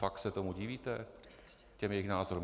Fakt se tomu divíte, těm jejich názorům?